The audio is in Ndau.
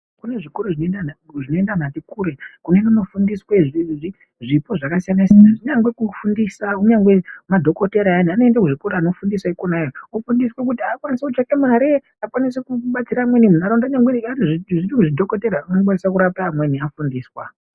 Kune zvikoro zvinoenda antu ati kure. Kunoende koofundiswe zvipo zvakasiyana. Kunyangwe kufundisa, kunyangwe madhokotera ayani anoende kuzvikora koofundisa ikonayo. Ofundiswa kuti akwanise kutsvake mare, akwanise kubatsira amweni munharaunda. Nyangwe zvechidhokotera okwanise kurape amweni afundiswa.